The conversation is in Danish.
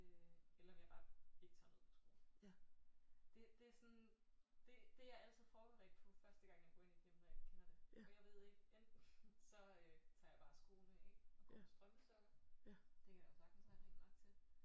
Øh eller om jeg bare ikke tager noget på skoene det det er sådan det det er jeg altid forberedt på første gang jeg går ind i et hjem når jeg ikke kender det for jeg ved ikke enten så tager jeg bare skoene af og går på strømpesokker det kan der jo sagtens være rent nok til